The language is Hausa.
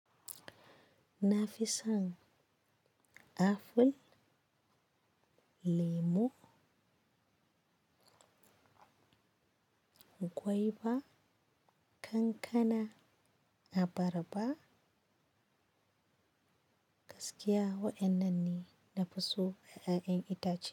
Na fi son aful, lemo, gwaiba, kankana, abarba, gaskiya waɗannan ne na fi so ƴaƴan itace.